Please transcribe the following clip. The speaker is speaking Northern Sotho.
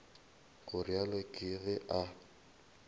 go realo ke ge a